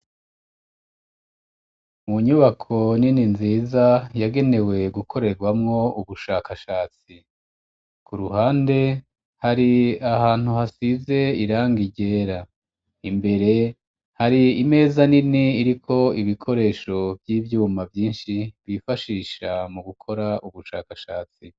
Mu nyubako nini nziza yagenewe gukorerwamwo ubushakashatsi, ku ruhande hari ahantu hasize irangi ryera, imbere hari imeza nini iriko ibikoresho vy'ivyuma vyinshi bifashisha mu gukora ubushakashatsi